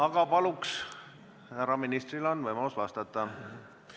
Aga palun, härra ministril on võimalus vastata!